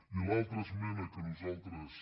i l’altra esmena que nosaltres